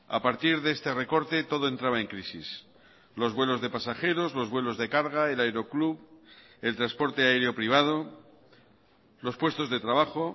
a partir de este recorte todo entraba en crisis los vuelos de pasajeros los vuelos de carga el aeroclub el transporte aéreo privado los puestos de trabajo